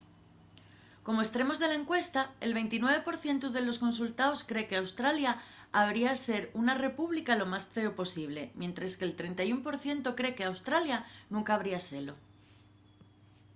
como estremos de la encuesta el 29 por cientu de los consultaos cree qu'australia habría ser una república lo más ceo posible mientres que'l 31 por cientu cree qu'australia nunca habría selo